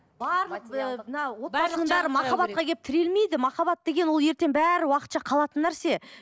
барлық мынау махаббатқа келіп тірелмейді махаббат деген ол ертең бәрі уақытша қалатын нәрсе